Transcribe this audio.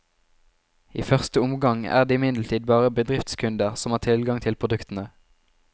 I første omgang er det imidlertid bare bedriftskunder som har tilgang til produktene.